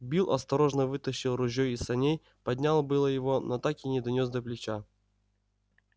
билл осторожно вытащил ружьё из саней поднял было его но так и не донёс до плеча